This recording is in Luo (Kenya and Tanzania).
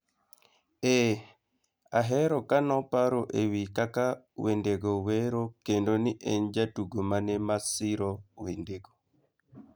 Ee, ahero kano paro ewi kaka wendego wero kendo ni en jatugo mane ma siro wendego